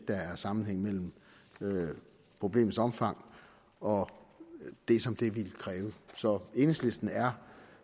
der er sammenhæng mellem problemets omfang og det som det ville kræve så enhedslisten er